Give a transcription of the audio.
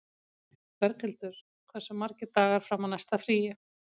Berghildur, hversu margir dagar fram að næsta fríi?